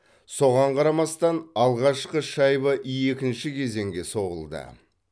соған қарамастан алғашқы шайба екінші кезеңде соғылды